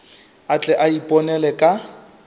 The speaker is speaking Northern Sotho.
a tle a iponele ka